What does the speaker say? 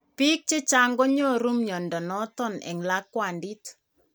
Biik chechang konyoru mnyondo noton en lakwandit ,